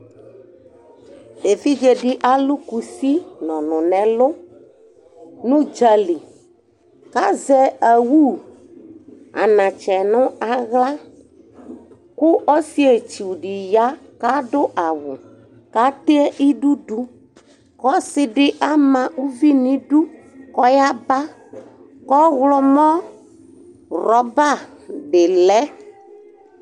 evidze di alo kusi no ɔno n'ɛlò n'udzali k'azɛ owu anatsɛ no ala ko ɔsietsu di ya ko ado awu k'atɛ idu do k'ɔsi di ama uvi nidu ko ɔyaba ko ɔwlɔmɔ rɔba di lɛ